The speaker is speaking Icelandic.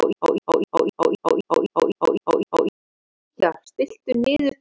Hann mun berjast við Sigmar Sigurðarson um markvarðar stöðuna hjá Fram.